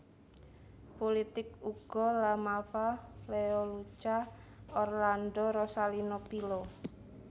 Pulitik Ugo La Malfa Leoluca Orlando Rosalino Pilo